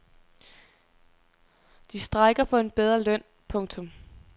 De strejker for en bedre løn. punktum